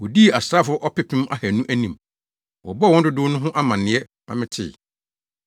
Wodii asraafo ɔpepem ahannu anim. Wɔbɔɔ wɔn dodow no ho amanneɛ ma metee.